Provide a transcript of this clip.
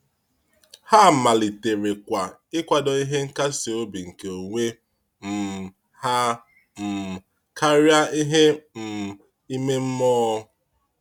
Ha maliterekwa ịkwado ihe nkasi obi nke onwe um ha um karịa ihe um ime mmụọ.